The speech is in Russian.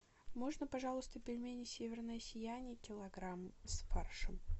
можно пожалуйста пельмени северное сияние килограмм с фаршем